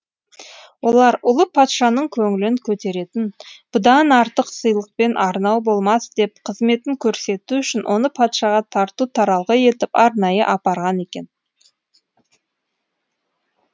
олар ұлы патшаның көңілін көтеретін бұдан артық сыйлық пен арнау болмас деп қызметін көрсету үшін оны патшаға тарту таралғы етіп арнайы апарған екен